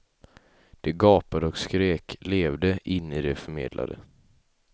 De gapade och skrek, levde in i det de förmedlade.